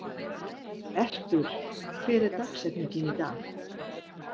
Erpur, hver er dagsetningin í dag?